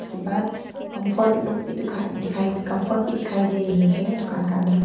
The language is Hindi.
के बाद कंफर्ट लोग भी दिखा दिखाई कंफर्ट भी दिखाई दे रही है दुकान के अंदर में।